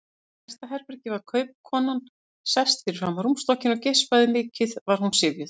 Í næsta herbergi var kaupakonan sest fram á rúmstokkinn og geispaði, mikið var hún syfjuð.